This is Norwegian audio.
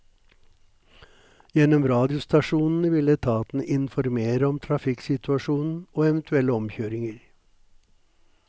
Gjennom radiostasjonene vil etatene informere om trafikksituasjonen og eventuelle omkjøringer.